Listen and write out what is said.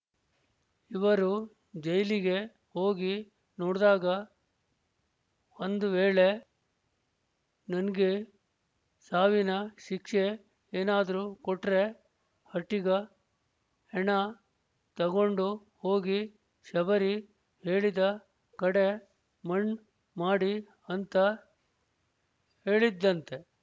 ಇವರು ಜೈಲಿಗೆ ಹೋಗಿ ನೋಡ್ದಾಗ ಒಂದ್ ವೇಳೆ ನನ್ಗೆ ಸಾವಿನ ಶಿಕ್ಷೆ ಏನಾದ್ರೂ ಕೊಟ್ರೆ ಹಟ್ಟೀಗ ಹೆಣ ತಗೊಂಡು ಹೋಗಿ ಶಬರಿ ಹೇಳಿದ ಕಡೆ ಮಣ್ ಮಾಡಿ ಅಂತ ಹೇಳಿದ್ಳಂತೆ